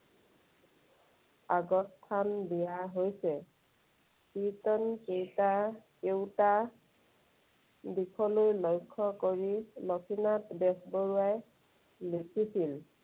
আগস্থান দিয়া হৈছে। কীৰ্ত্তন কেইটা কেওটা দিশলৈ লক্ষ্য কৰি লক্ষ্মীনাথ বেজবৰুৱাই লিখিছিল।